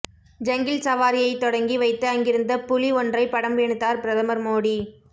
jungle சவாரியை தொடங்கி வைத்து அங்கிருந்த புலி ஒன்றை படம் எடுத்தார் பிரதமர் மோடி